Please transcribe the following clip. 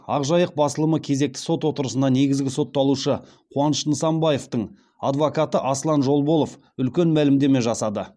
ақ жайық басылымы кезекті сот отырысында негізгі сотталушы қуаныш нысанбаевтың адвокаты аслан жолболов үлкен мәлімдеме жасады